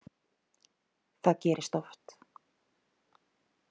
Það gerist oft.